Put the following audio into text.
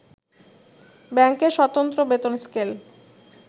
ব্যাংকের সতন্ত্র বেতন স্কেল